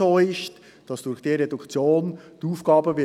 «Kantonales Gewässerschutzgesetz (KGSchG)